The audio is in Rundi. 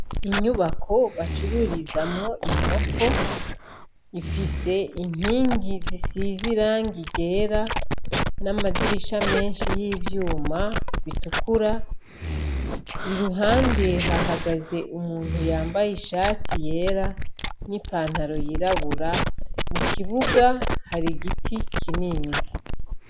Inyubako bacururizamwo inkoko ifise inkingi zisize irangi ryera n'amadirisha menshi yivyuma bitukura iruhande hahagazaze umuntu yambaye ishati yera n'ipantaro yirabura mu kibuga hari igiti kinini.